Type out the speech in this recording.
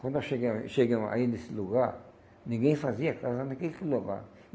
Quando nós chegamos chegamos aí nesse lugar, ninguém fazia casa naquele lugar.